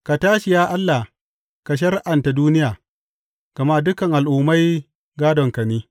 Ka tashi, ya Allah, ka shari’anta duniya, gama dukan al’ummai gādonka ne.